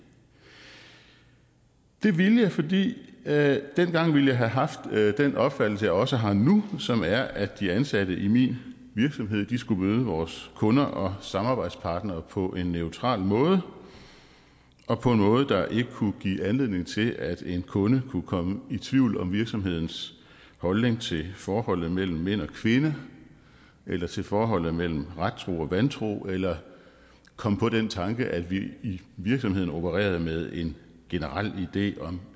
det ville jeg fordi jeg jeg dengang ville have haft den opfattelse jeg også har nu som er at de ansatte i min virksomhed skulle møde vores kunder og samarbejdspartnere på en neutral måde og på en måde der ikke kunne give anledning til at en kunde kunne komme i tvivl om virksomhedens holdning til forholdet mellem mænd og kvinder eller til forholdet mellem rettroende og vantro eller komme på den tanke at vi i virksomheden opererede med en generel idé om